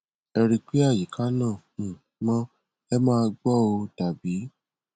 ẹ rí i pé àyíká náà um mọ ẹ má gbo ó tàbí ti í